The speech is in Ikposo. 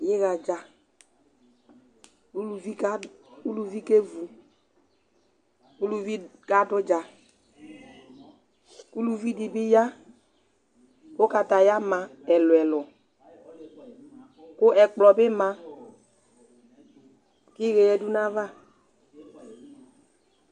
Iɣa dza, uluvi ke vu, uluvi ka du udza, uluvi di bi ya ku ɔkatɛ ayu ama ɛlu ɛlu, ku ɛkplɔ bi ma iɣɛ ya du na ya va